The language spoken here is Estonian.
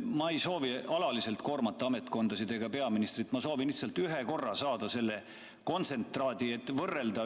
Ma ei soovi alaliselt koormata ametkondasid ega peaministrit, ma soovin lihtsalt ühe korra saada selle kontsentraadi, et võrrelda,